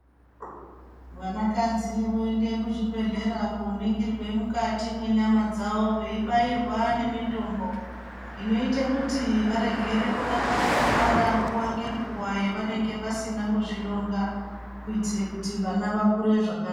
Vanakadzi voende kuzvibhedhlera koningirwa mwukati mwenyama dzawo, veibairwa nemitombo inoite kuti varegere kuramba veibara nguwa ngenguwa yevanenge vasina kuzvironga.